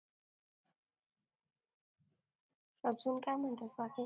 अजून काय म्हणतेस बाकी